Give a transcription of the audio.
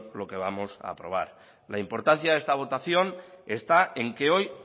lo que vamos a aprobar la importancia de esta votación está en que hoy